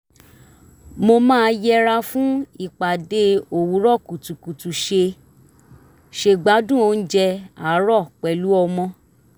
mo máa yẹra fún ìpàdé òwúrọ̀ kùtùkùtù ṣeé ṣe gbádùn oúnjẹ àárọ̀ pẹ̀lú ọmọ